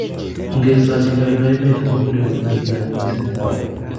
ongesachi neo nebo emet amuun bunee uuinwek chechang missing